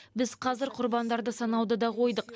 біз қазір құрбандарды санауды да қойдық